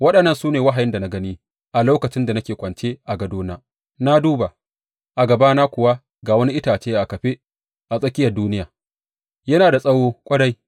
Waɗannan su ne wahayin da na gani a lokacin da nake kwance a gadona, na duba, a gabana kuwa ga wani itace a kafe a tsakiyar duniya, yana da tsawo ƙwarai.